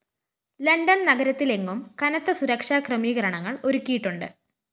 London‍ നഗരത്തിലെങ്ങും കനത്ത സുരക്ഷാക്രമീകരണങ്ങള്‍ ഒരുക്കിയിട്ടുണ്ട്